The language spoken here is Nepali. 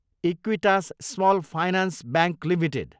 Equitas small finance bank Ltd